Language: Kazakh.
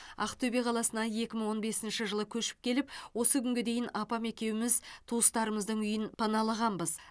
ақтөбе қаласына екі мың он бесінші жылы көшіп келіп осы күнге дейін апам екеуіміз туыстарымыздың үйін паналағанбыз